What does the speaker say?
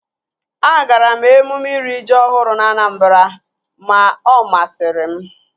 Agara m emume iri ji ọhụrụ na Anambra ma ọ masịrị m